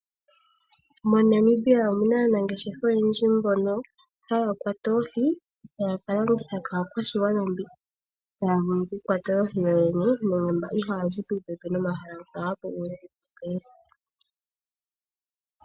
MoNamibia omu na aangeshefa mbono ha ya kwata oohi e ta ya ka landitha kaakwashigwana mbono ihaa ya vulu oku kwata oohi yo yene nenge mba ihaa ya zi popepi nomahala mpa ha pu monika oohi.